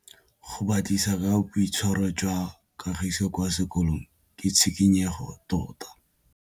Go batlisisa ka boitshwaro jwa Kagiso kwa sekolong ke tshikinyêgô tota.